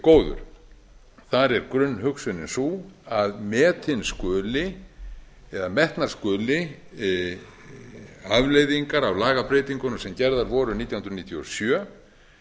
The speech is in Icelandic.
góður þar er grunnhugsunin sú að metnar skulu afleiðingar af lagabreytingunum sem gerðar voru vorið nítján hundruð níutíu og sjö